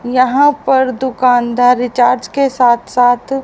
यहाँ पर दुकानदार रिचार्ज के साथ साथ--